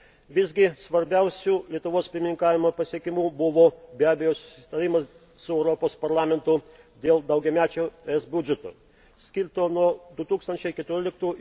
Visgi svarbiausiu Lietuvos pirmininkavimo pasiekimu buvo, be abejo, susitarimas su Europos Parlamentu dėl daugiamečio ES biudžeto, skirto nuo 2014 m.